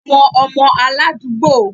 Àwọn ọmọ aládùúgbò